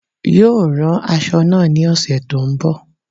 Yóò rán aṣọ náà ní ọ̀sẹ̀ tó n bò